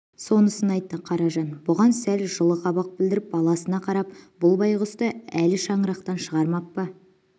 сонысын айтты қаражан бұған сәл жылы қабақ білдіріп баласына қарап бұл байғұсты әлі шаңырақтан шығармап па